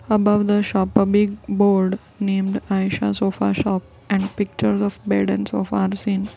above the shop a big board named ayesha sofa shop and pictures of bed and sofa are seen.